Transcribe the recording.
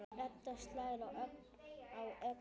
Edda slær á öxl Agnesi.